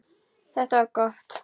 Þetta var gott.